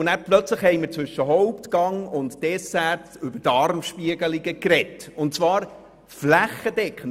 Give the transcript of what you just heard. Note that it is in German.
» Plötzlich haben wir zwischen Hauptgang und Dessert über Darmspiegelungen gesprochen und zwar flächendeckend.